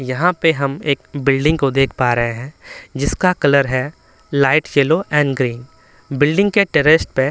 यहाँ पे हम एक बिल्डिंग को देख पा रहे हैं जिसका कलर है light yellow and green building के टेरेस पे--